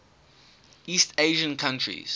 east asian countries